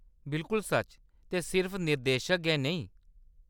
बिलकुल सच्च, ते सिर्फ निर्देशक गै नेईं।